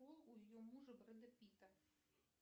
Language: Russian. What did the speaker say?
пол у ее мужа бреда пита